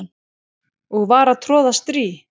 og var að troða strý